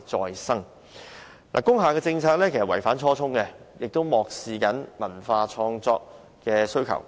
現行的工廈政策其實既違反初衷，亦漠視文化創作的需求。